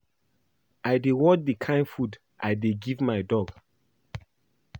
I dey watch the kin food I dey give my dog